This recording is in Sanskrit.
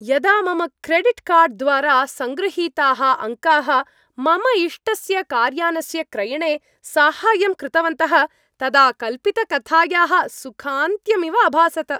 यदा मम क्रेडिट् कार्ड् द्वारा सङ्गृहीताः अङ्काः मम इष्टस्य कार्यानस्य क्रयणे साहाय्यं कृतवन्तः तदा कल्पितकथायाः सुखान्त्यम् इव अभासत।